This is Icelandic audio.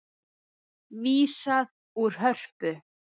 Vísað úr Hörpu